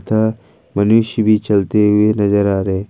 तथा मनुष्य भी चलते हुए नजर आ रहे है।